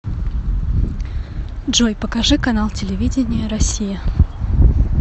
джой покажи канал телевидения россия